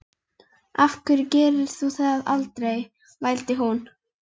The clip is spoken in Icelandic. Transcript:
Af hverju gerir þú það aldrei? vældi hún.